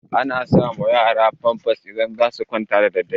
Ana sa ma yara famfas idan za su kwanta da daddare